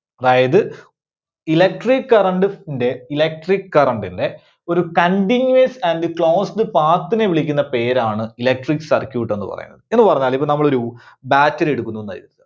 അതായത് electric current ~ന്റെ, electric current ന്റെ ഒരു continuous and closed path നെ വിളിക്കുന്ന പേരാണ് electric circuit എന്ന് പറയുന്നത്. എന്ന് പറഞ്ഞാല് ഇത് നമ്മളൊരു battery എടുക്കുന്നൂന്ന് കരുതുക.